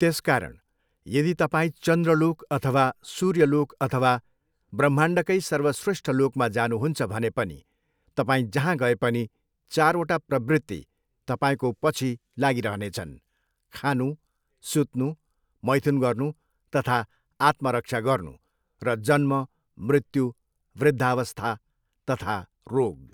त्यसकारण यदि तपाईं चन्द्रलोक अथवा सूर्यलोक अथवा ब्रह्माण्डकै सर्वश्रेष्ठ लोकमा जानुहुन्छ भने पनि तपाईँ जहाँ गए पनि चारवटा प्रवृत्ति तपाईँको पछि लागिरहने छन्, खानु, सुत्नु, मैथुन गर्नु तथा आत्मरक्षा गर्नु र जन्म, मृत्यु, वृद्धावस्था तथा रोग।